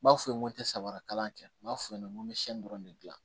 N b'a f'u ye n ko te samara kalan kɛ n b'a f'u ye n ko n bɛ sɛgɛn dɔrɔn de dilan